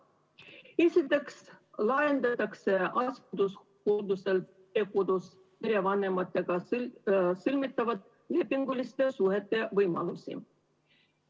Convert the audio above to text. Esiteks laiendatakse asendushooldusel perekodus perevanematega sõlmitavate lepinguliste suhete võimalusi.